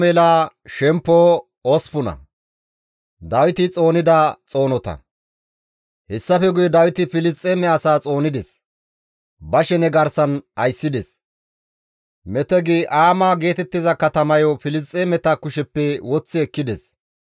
Hessafe guye Dawiti Filisxeeme asaa xoonides; ba shene garsan ayssides; Metegi-Aama geetettiza katamayo Filisxeemeta kusheppe woththi ekkides.